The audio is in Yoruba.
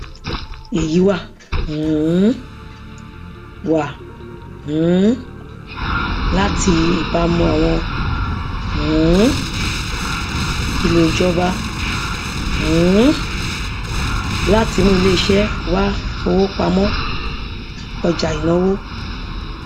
èyí wá um wá um láti ìbámu àwọn um ìlò ìjọba um láti mú iléiṣẹ wá fowó pa mọ ọjà ìnáwó